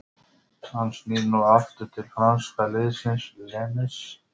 Hann snýr nú aftur til franska liðsins Lens.